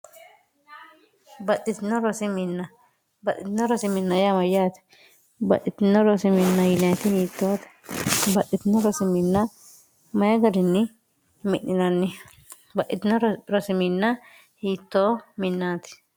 baxxitino rosiminna yaama yaate baxitino rosiminn yiniti wiittoote baxxitino rosiminna mayi galinni mi'ninanni baxitino rosiminn hiittoo minaati